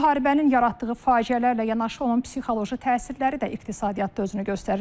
Müharibənin yaratdığı faciələrlə yanaşı onun psixoloji təsirləri də iqtisadiyyatda özünü göstərir.